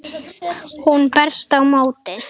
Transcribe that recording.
Hún berst á móti.